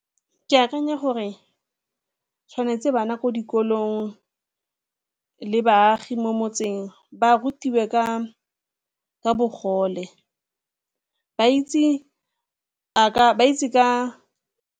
Ke akanya gore tshwanetse bana ko dikolong le baagi mo motseng ba rutiwe ka bogole, ba itse ka.